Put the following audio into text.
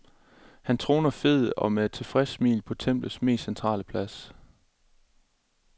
Han troner fed og med et tilfreds smil på templets mest centrale plads.